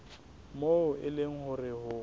moo e leng hore ho